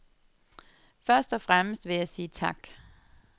Først og fremmest vil jeg sige tak.